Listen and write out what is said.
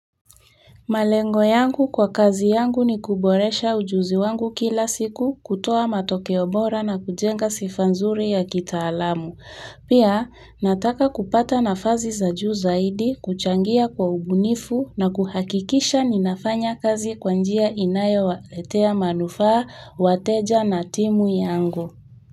Malengo kwa kazi yangu ni kuboresha ujuzi wangu kila siku kutoa matokeo bora na kujenga sifa nzuri ya kitaalamu. Pia nataka kupata nafasi za juu zaidi kuchangia kwa ubunifu na kuhakikisha ninafanya kazi kwa njia inayo waletea manufaa, wateja na timu yangu.